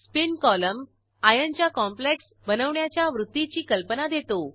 spin column आर्यनच्या complex बनवण्याच्या वृत्तीची कल्पना देतो